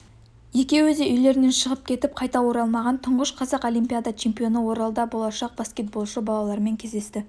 екеуі де үйлерінен шығып кетіп қайтып оралмаған тұңғыш қазақ олимпиада чемпионы оралда болашақ баскетболшы балалармен кездесті